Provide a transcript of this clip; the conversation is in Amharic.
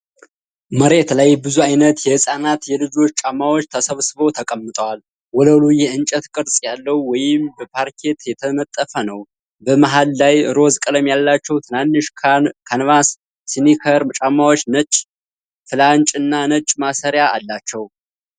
መሬት ላይ ብዙ ዓይነት የሕፃናትና የልጆች ጫማዎች ተሰብስበው ተቀምጠዋል። ወለሉ የእንጨት ቅርጽ ያለው ወይም በፓርኬት የተነጠፈ ነው። በመሃል ላይ ሮዝ ቀለም ያላቸው ትናንሽ ካንቫስ ስኒከር ጫማዎች ነጭ ፍላጭ እና ነጭ ማሰሪያ ያላቸው።